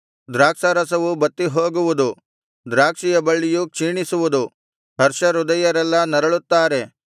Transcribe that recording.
ದ್ರಾಕ್ಷಾರಸವು ಬತ್ತಿ ಹೋಗುವುದು ದ್ರಾಕ್ಷಿಯ ಬಳ್ಳಿಯು ಕ್ಷೀಣಿಸುವುದು ಹರ್ಷ ಹೃದಯರೆಲ್ಲಾ ನರಳುತ್ತಾರೆ